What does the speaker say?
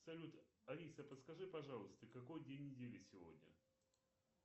салют алиса подскажи пожалуйста какой день недели сегодня